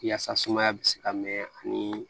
Yaasa sumaya bɛ se ka mɛn ani